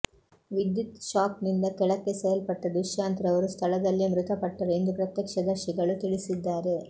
ವಿದ್ಯುತ್ ಶಾಕ್ ನಿಂದ ಕೆಳೆಕ್ಕೆಸೆಯಲ್ಪಟ್ಟ ದುಶ್ಯಾಂತ್ ರವರು ಸ್ಥಳದಲ್ಲೇ ಮೃತಪಟ್ಟರು ಎಂದು ಪ್ರತ್ಯಕ್ಷದರ್ಶಿಗಳು ತಿಳಿಸಿದ್ದಾರೆ